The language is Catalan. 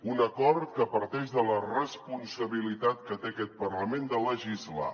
un acord que parteix de la responsabilitat que té aquest parlament de legislar